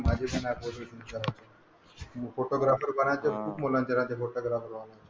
हो photographer बनायचंय मला खूप मुलाचे काढलेत फोटोग्राफर सारखे.